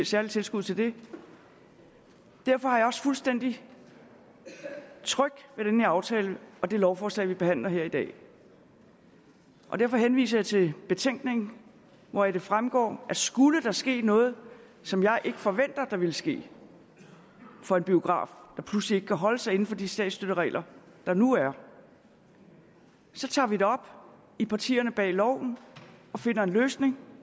særlige tilskud til det derfor er jeg også fuldstændig tryg ved den her aftale og det lovforslag vi behandler her i dag og derfor henviser jeg til betænkningen hvoraf det fremgår at skulle der ske noget som jeg ikke forventer der vil ske for en biograf altså den pludselig ikke kan holde sig inden for de statsstøtteregler der nu er så tager vi det op i partierne bag loven og finder en løsning